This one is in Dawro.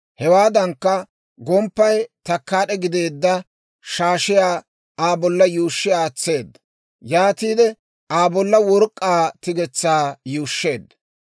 Hewaadankka, gomppay takkaad'e gideedda shaashiyaa Aa bolla yuushshi aatseedda. Yaatiide Aa bolla work'k'aa tigetsaa yuushsheedda.